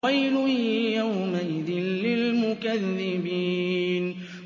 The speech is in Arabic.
وَيْلٌ يَوْمَئِذٍ لِّلْمُكَذِّبِينَ